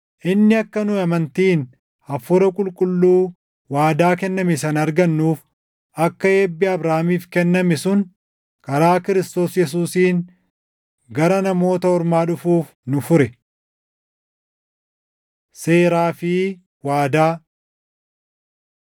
Inni akka nu amantiin Hafuura Qulqulluu waadaa kenname sana argannuuf, akka eebbi Abrahaamiif kenname sun karaa Kiristoos Yesuusiin gara Namoota Ormaa dhufuuf nu fure. Seeraa fi Waadaa